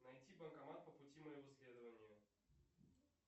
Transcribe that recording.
найти банкомат по пути моего следования